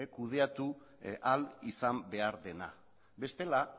kudeatu ahal izan behar dela bestela